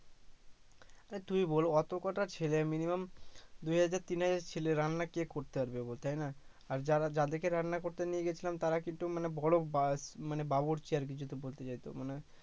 হ্যা তুই বল এতো কটা ছেলে মিনিমাম দুই হাজার তিন হাজার ছেলের রান্না কি করতে পারবে বল তাই না আর যারা যাদেরকে রান্না করতে নিয়ে গেছিলাম তারা কিন্তু মানে বড় বা মানে বাবুর্চি আর যেহেতু